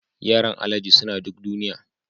Yaran alhaji suna duk duniya